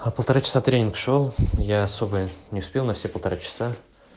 а полтора часа тренинг шёл я особо не успел на все полтора часа